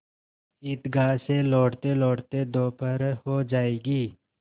ईदगाह से लौटतेलौटते दोपहर हो जाएगी